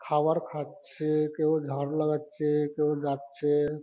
খাওয়ার খাচ্ছেএ কেউ ঝাড়ু লাগাচ্ছে কেউ যাচ্ছে।